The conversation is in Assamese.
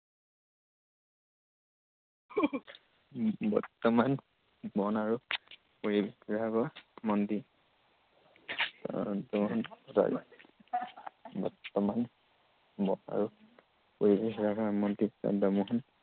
বৰ্তমান বন আৰু পৰিৱেশ বিভাগৰ মন্ত্ৰী চন্দ্ৰমোহন পাটোৱাৰী। বৰ্তমান বন আৰু পৰিৱেশ বিভাগৰ মন্ত্ৰী চন্দ্ৰমোহন